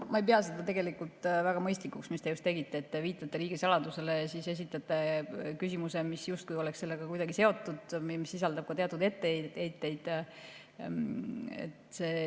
Ma ei pea tegelikult väga mõistlikuks seda, mida te just tegite: te viitate riigisaladusele ja siis esitate küsimuse, mis justkui oleks sellega kuidagi seotud ja mis sisaldab ka teatud etteheiteid.